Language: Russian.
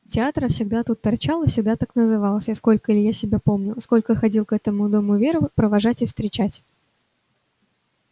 театр всегда тут торчал и всегда так назывался сколько илья себя помнил сколько ходил к этому дому веру провожать и встречать